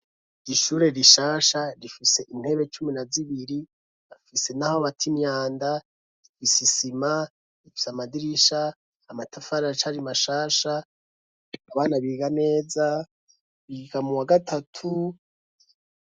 Ishure rishasha rifise intebe cumi na zibiri, rifise n'aho bata imyanda, rifise isima, rifise amadirisha, amatafara arac'ari mashasha, abana biga neza, biga mu wa gatatu.